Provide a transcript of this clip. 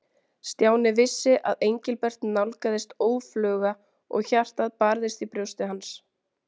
Stjáni vissi að Engilbert nálgaðist óðfluga og hjartað barðist í brjósti hans.